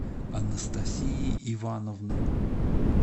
анастасии ивановны